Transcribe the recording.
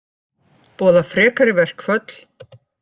Boða frekari verkföll